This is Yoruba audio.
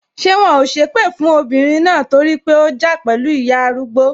Ṣé wọn ò sépè fún ọmọbìnrin náà torí pé ó ja pẹlu ìyá arúgbó?